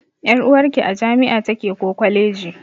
Ƴar'uwarki a jami'a take ko kwaleji.